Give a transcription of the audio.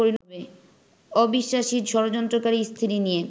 অবিশ্বাসী, ষড়যন্ত্রকারী স্ত্রী নিয়ে